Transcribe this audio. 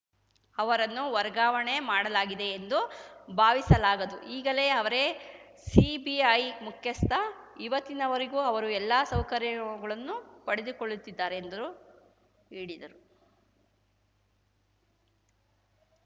ಅವರನ್ನು ವರ್ಗಾವಣೆ ಮಾಡಲಾಗಿದೆ ಎಂದು ಭಾವಿಸಲಾಗದು ಈಗಲೇ ಅವರೇ ಸಿಬಿಐ ಮುಖ್ಯಸ್ಥ ಇವತ್ತಿನವರೆಗೂ ಅವರು ಎಲ್ಲ ಸೌಕರ್ಯಗಳನ್ನು ಪಡೆದುಕೊಳ್ಳುತ್ತಿದ್ದಾರೆ ಎಂದ್ರು ಹೇಳಿದರು